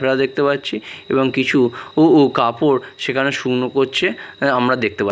bra দেখতে পাচ্ছি এবং কিছু উ উ কাপড় সেখানে শুকনো করছে আমরা দেখতে পা --